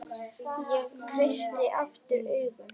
Ég kreisti aftur augun.